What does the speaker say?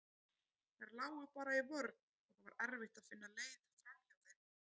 Þær lágu bara í vörn og það var erfitt að finna leið framhjá þeim.